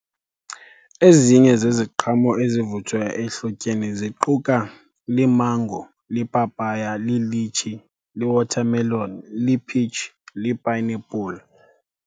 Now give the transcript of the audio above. Ezinye zeziqhamo ezivuthwa ehlotyeni ziquka limango, lipapaya, lilitshi, li-watermelon, liphitshi, lipayinepuli.